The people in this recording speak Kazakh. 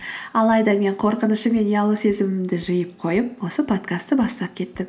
алайда мен қорқынышым мен ұялу сезімімді жиып қойып осы подкастты бастап кеттім